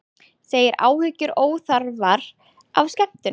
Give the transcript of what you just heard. Segir áhyggjur óþarfar af skemmtun